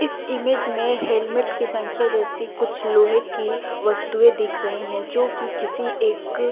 इस इमेज में हेलमेट की संख्या जैसी कुछ लोहे की वस्तुएं देख रहे हैं जो कि किसी एक--